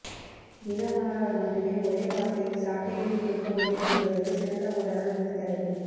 தினமலரால் மட்டுமே ஒரே வார்த்தையில் சாட்டை அடி கொடுக்க முடியும் என்பதற்கு சிறந்த உதாரணம் இந்த தலைப்பு